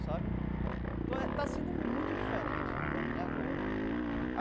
Sabe então está sendo muito diferente para mim agora.